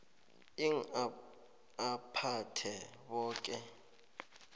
ii aphathe boke